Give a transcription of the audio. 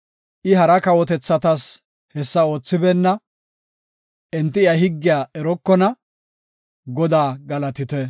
I hara kawotethatas hessa oothibeenna; enti iya higgiya erokona. Godaa galatite!